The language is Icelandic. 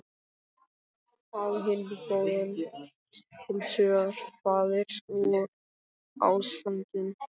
Á hinn bóginn: heilshugar faðir og ástfanginn.